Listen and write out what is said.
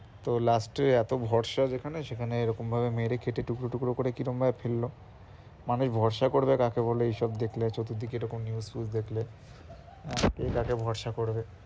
তো last এ এত ভরসা যেখানে সেখানে এরকম ভাবে মেরে কেটে টুকরো টুকরো করে কিরম ভাবে ফেলল? মানুষ ভরসা করবে কাকে বলো এইসব দেখলে চতুর্দিকে এরকম news টিউজ দেখলে কে কাকে ভরসা করবে?